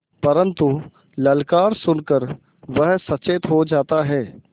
परन्तु ललकार सुन कर वह सचेत हो जाता है